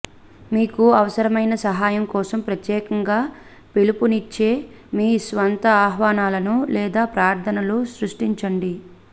మీకు అవసరమైన సహాయం కోసం ప్రత్యేకంగా పిలుపునిచ్చే మీ స్వంత ఆహ్వానాలను లేదా ప్రార్థనలను సృష్టించండి